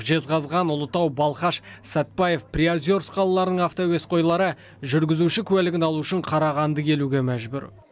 жезқазған ұлытау балқаш сәтбаев приозерск қалаларының автоәуесқойлары жүргізуші куәлігін алу үшін қарағанды келуге мәжбүр